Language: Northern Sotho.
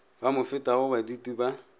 ba mo fetago baditi ba